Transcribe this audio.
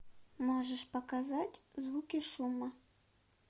можешь показать звуки шума